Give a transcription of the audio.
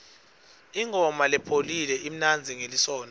ingoma lepholile imnanzi ngelisontfo